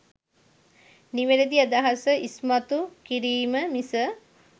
නිවැරදි අදහස ඉස්මතු කිරීම මිස